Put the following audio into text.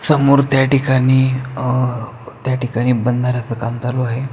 समोर त्या ठिकाणी अ त्या ठिकाणी बंदाराचा काम चालू आहे.